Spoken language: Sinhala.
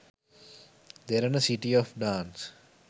derana city of dance